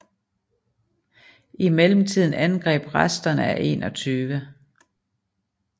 I mellemtiden angreb resterne af 21